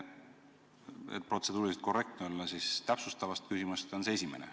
Et protseduuriliselt korrektne olla, siis märgin, et täpsustavatest küsimustest on see esimene.